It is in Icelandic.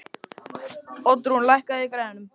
Oddrún, lækkaðu í græjunum.